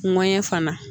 fana